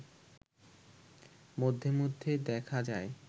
মধ্যে মধ্যে দেখা যায়